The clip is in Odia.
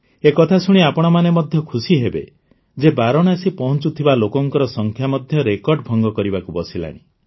ଏ କଥା ଶୁଣି ଆପଣମାନେ ମଧ୍ୟ ଖୁସି ହେବେ ଯେ ବାରାଣସୀ ପହଞ୍ଚୁଥିବା ଲୋକଙ୍କ ସଂଖ୍ୟା ମଧ୍ୟ ରେକର୍ଡ଼ ଭଙ୍ଗ କରିବାକୁ ବସିଲାଣି